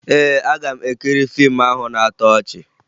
Ee, aga m ekiri fiimu ahụ na-atọ ọchị